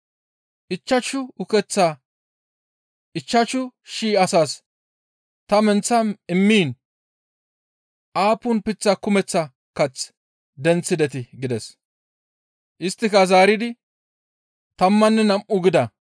Ichchashu ukeththaa ichchashu shii asaas ta menththa immiin aappun leemate kumeththa kath denththidetii?» gides. Isttika zaaridi, «Tammanne nam7u» gida.